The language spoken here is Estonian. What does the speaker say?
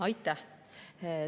Aitäh!